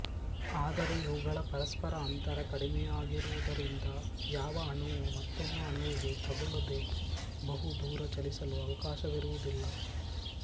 ಆದರೆ ಇವುಗಳ ಪರಸ್ಪರ ಅಂತರ ಕಡಿಮೆಯಾಗಿರುವುದರಿಂದ ಯಾವ ಅಣುವೂ ಮತ್ತೊಂದು ಅಣುವಿಗೆ ತಗುಲದೇ ಬಹು ದೂರ ಚಲಿಸಲು ಅವಕಾಶವಿರುವುದಿಲ್ಲ